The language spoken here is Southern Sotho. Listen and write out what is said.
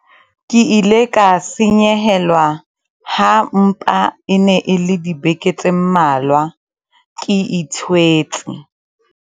ke ile ka senyehelwa ha mpa e ne e le dibeke tse mmalwa ke ithwetse